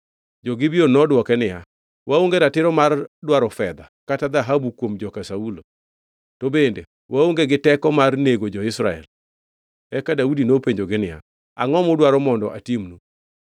Jo-Gibeon nodwoke niya, “Waonge ratiro mar dwaro fedha kata dhahabu kuom joka Saulo, to bende waonge gi teko mar nego jo-Israel.” Eka Daudi nopenjogi niya, “Angʼo mudwaro mondo atimnu?”